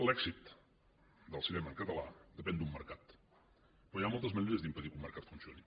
l’èxit del cinema en català depèn d’un mercat però hi ha moltes maneres d’impedir que un mercat funcioni